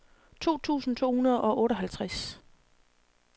to tusind to hundrede og otteoghalvtreds